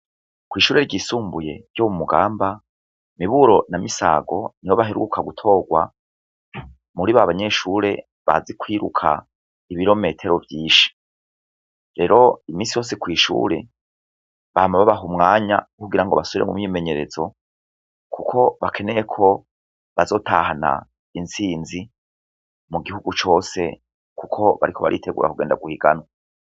Kw'ishure ryisumbuye ryo mu mugamba miburo na misago nibo baheruka gutorwa muri ba banyeshure bazi kwiruka ibirometero vyinshi rero imisi yose kw'ishure bahama babaha umwanya kugira ngo basubire mu mimenyerezo, kuko bakeneyeko azotahana intsinzi mu gihugu cose, kuko bariko baritegura kugenda guhiganwa.